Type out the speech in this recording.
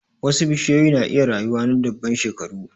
Wasu bishiyoyi na iya rayuwa na dubban shekaru.